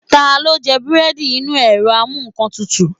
Talo jẹ búredì Inu erò amú nkán tútú